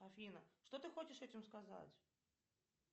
афина что ты хочешь этим сказать